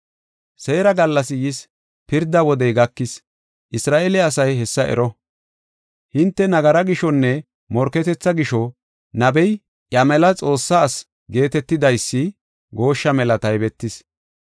Seera gallasi yis; pirda wodey gakis. Isra7eele asay hessa ero! Hinte nagaraa gishonne morketetha gisho nabey eeya mela Xoossa asi geetetidaysi gooshsha mela taybetis.